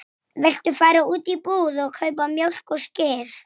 Svo þagnaði hann.